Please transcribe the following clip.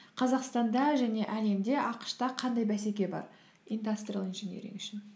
қазақстанда және әлемде ақш та қандай бәсеке бар индастриал инжениринг үшін